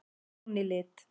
Jón í lit.